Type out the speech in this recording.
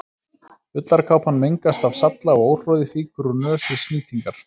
Ullarkápan mengast af salla og óhroði fýkur úr nös við snýtingar.